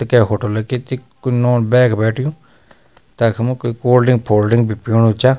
त कै होटलकी त के नौन-बैख बैठ्यूं तखमु कुई कोल्ड ड्रिंक फोल ड्रिंक भी पीणू चा।